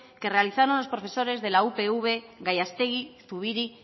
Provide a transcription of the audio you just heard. que realizaron los profesores de la upv gallastegui zubiri